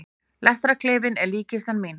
Lestarklefinn er líkkistan mín.